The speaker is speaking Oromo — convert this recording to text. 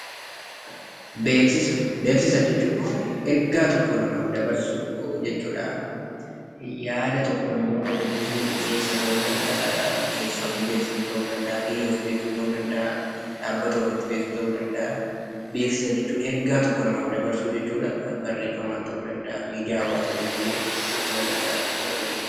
Beeksisa jechuun ergaa tokko namaaf dabarsuu jechuudha. Yaada tokko namoota beeksisuu ta'uu danda'a. Miseensa ofii biyya, dhaabbata ofii, ofii beeksisuu ta'uu danda'a. Beeksisa jechuun ergaa tokko namaaf dabarsuu jechuudha. Barreeffamaan ta'uu danda'a, miidiyaan ta'uu danda'a jechuudha beeksifni.